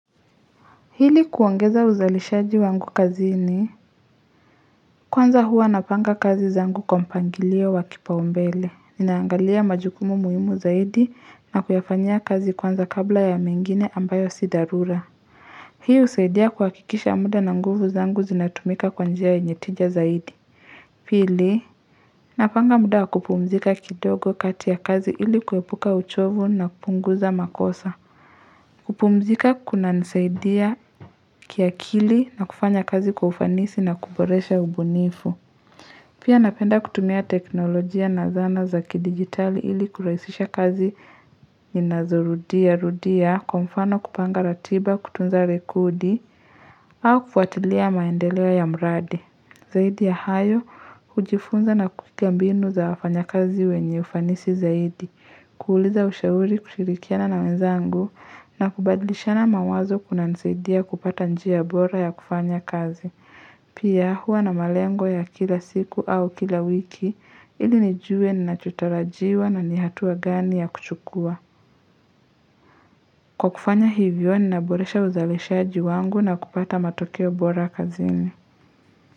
Ili kuongeza uzalishaji wangu kazini Kwanza hua napanga kazi zangu kwa mpangilio wa kipaumbele naangalia majukumu muhimu zaidi na kuyafanya kazi kwanza kabla ya mengine ambayo sidharura Hii usaidia kwa kuhakikisha muda na nguvu zangu zinatumika kwa njia yenye tija zaidi Pili Napanga muda wa kupumzika kidogo kati ya kazi ili kuepuka uchovu na kupunguza makosa kupumzika kuna nisaidia kiakili na kufanya kazi kwa ufanisi na kuboresha ubunifu. Pia napenda kutumia teknolojia na zana za kidigitali ili kuraisisha kazi inazurudia rudia kumfano kupanga ratiba kutunza rekodi au kufuatilia maendeleo ya mradi. Zaidi ya hayo, hujifunza na kutiambinu za wafanya kazi wenye ufanisi zaidi, kuuliza ushauri kushirikiana na wenzangu na kubadlishana mawazo kuna nisaidia kupata njia bora ya kufanya kazi. Pia hua na malengo ya kila siku au kila wiki ili nijue ninachotarajiwa na nihatua gani ya kuchukua. Kwa kufanya hivyo ni naboresha uzalishaji wangu na kupata matokeo bora kazini.